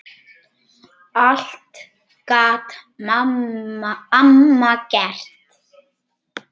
Allt gat amma gert.